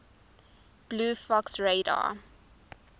blue fox radar